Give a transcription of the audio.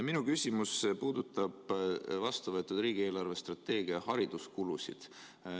Minu küsimus puudutab vastuvõetud riigi eelarvestrateegia hariduskulusid.